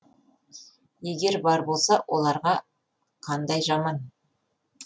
егер бар болса оларға қандай жаман